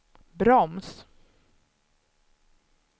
broms